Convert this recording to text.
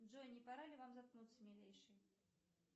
джой не пора ли вам заткнуться милейший